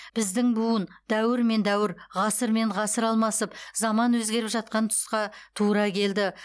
біздің буын дәуір мен дәуір ғасыр мен ғасыр алмасып заман өзгеріп жатқан тұсқа тура келді